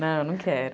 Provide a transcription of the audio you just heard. Não, não quero.